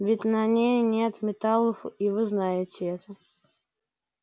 ведь на ней нет металлов и вы знаете это